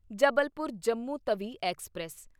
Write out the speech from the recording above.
Jabalpur Jammu Tawi express